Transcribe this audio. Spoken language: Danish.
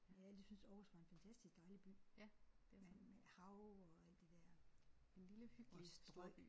Jeg har altid syntes Aarhus var en fantastisk dejlig by med med hav og alt det der og et strøg